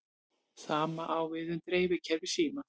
Sama á við um dreifikerfi símans.